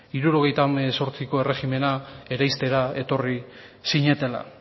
hirurogeita hemezortziko erregimena etorri zinetela